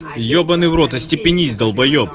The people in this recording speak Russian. ебанный в рот остепенись далбаеб